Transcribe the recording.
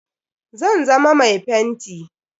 Zan zama mai fenti.